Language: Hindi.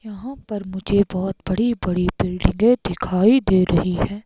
यहां मुझे बहुत बड़ी बड़ी बिल्डिंगे दिखाई दे रही हैं।